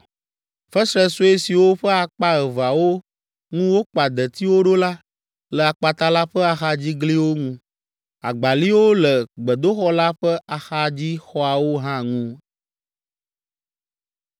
Fesre sue siwo ƒe akpa eveawo ŋu wokpa detiwo ɖo la, le akpata la ƒe axadzigliwo ŋu. Agbaliwo le gbedoxɔ la ƒe axadzixɔawo hã ŋu.